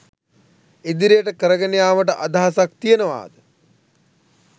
ඉදිරියට කරගෙන යාමට අදහසක් තියෙනවාද?